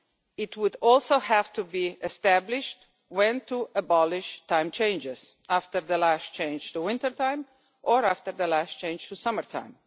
it would also have to be established when to abolish time changes after the last change to winter time, or after the last change for summer time.